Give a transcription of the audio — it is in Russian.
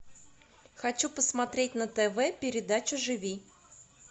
хочу посмотреть на тв передачу живи